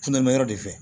Funɛma yɔrɔ de fɛ